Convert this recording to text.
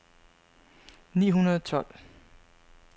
ni hundrede og tolv